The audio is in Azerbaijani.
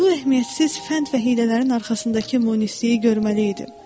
Bu əhəmiyyətsiz fənd və hiylələrin arxasındakı monisliyi görməli idim.